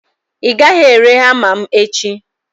ị gaghị ere hama m echi!